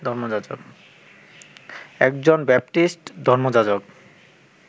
একজন বাপ্টিস্ট ধর্মযাজক